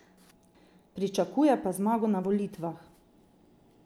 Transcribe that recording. Pričakuje pa zmago na volitvah.